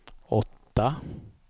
åtta